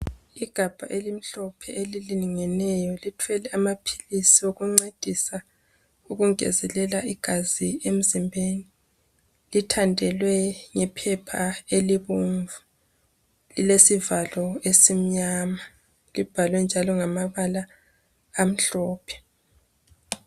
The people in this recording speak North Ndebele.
Igabha elimhlophe elilingeneyo lithwele amaphilisi okuncedisa ukungezelela igazi emzimbeni. lithandelwe ngephepha elibomvu, lilesivalo esimnyama libhalwenjalo ngamabala amhlophe.